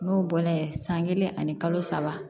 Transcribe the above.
N'o bɔla ye san kelen ani kalo saba